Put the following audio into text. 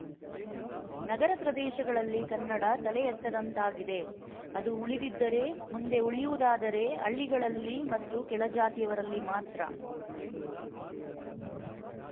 ನಗರ ಪ್ರದೇಶಗಳಲ್ಲಿ ಕನ್ನಡ ತಲೆ ಎತ್ತದಂತಾಗಿದೆ ಅದು ಉಳಿದಿದ್ದರೆ ಮುಂದೆ ಉಳಿಯುವುದಾದರೆ ಹಳ್ಳಿಗರಲ್ಲಿ ಮತ್ತು ಕೆಳಜಾತಿಯವರಲ್ಲಿ ಮಾತ್ರ